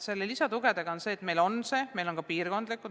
Meil on see olemas, meil on ka piirkondlikud toetused.